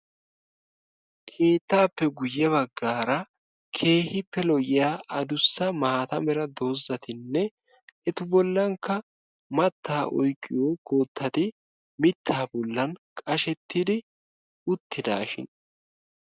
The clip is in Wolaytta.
Keettaappe guyye baggaara keehippe lo''iya adussa maata mera doozzatinne etu bollankka mattaa oyqqiyo koottati mittaa bollan qashettidi uttidaashin.